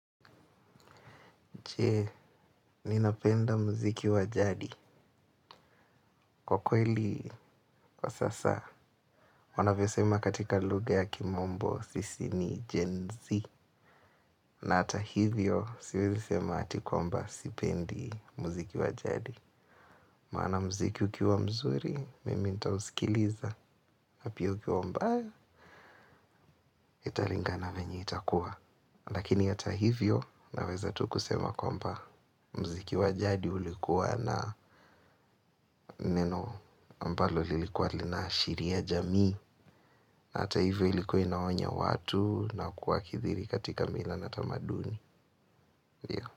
Je, ninapenda mziki wa jadi? Kwa kweli, kwa sasa, wanavyo sema katika lugha ya kimombo sisi ni Gen-z. Na ata hivyo, siwezi sema ati kwamba sipendi mziki wa jadi. Maana mziki ukiwa mzuri mimi nitausikiliza. Na pia ukiwa mbali italingana venye itakuwa. Lakini hata hivyo naweza tu kusema kwamba mziki wa jadi ulikuwa na neno ambalo lilikuwa linaashiria jamii, hata hivyo ilikuwa inaonya watu na kuwakithiri katika mila na tamaduni. Ndio.